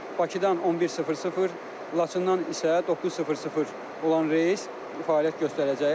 Bakıdan 11:00, Laçından isə 9:00 olan reys fəaliyyət göstərəcək.